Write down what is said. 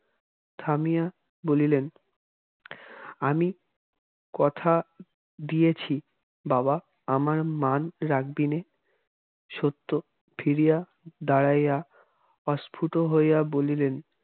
থামিয়া বলিলেন আমি কথা দিয়েছি বাবা আমার মান রাখবি নে? সত্য ফিরিয়া দাঁড়াইয়া অস্ফুট হইয়া বলিলেন